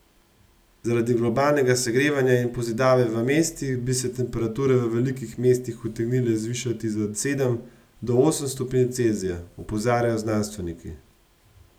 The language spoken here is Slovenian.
Zaradi globalnega segrevanja in pozidave v mestih bi se temperature v velikih mestih utegnile zvišati za sedem do osem stopinj Celzija, opozarjajo znanstveniki.